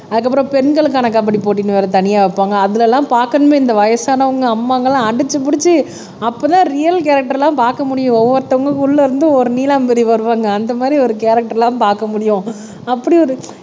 அதுக்கப்புறம் பெண்களுக்கான கபடி போட்டின்னு வேற தனியா வைப்பாங்க அதுல எல்லாம் பாக்கணுமே இந்த வயசானவங்க அம்மாங்க எல்லாம் அடிச்சு புடிச்சு அப்பதான் ரியல் கேரக்டர் எல்லாம் பாக்க முடியும் ஒவ்வொருத்தவங்களுக்கு உள்ள இருந்து ஒரு நீலாம்பரி வருவாங்க அந்த மாரி ஒரு கேரக்டர்லாம் பாக்க முடியும். அப்படி ஒரு